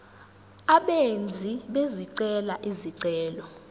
abenzi bezicelo izicelo